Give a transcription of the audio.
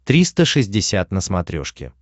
триста шестьдесят на смотрешке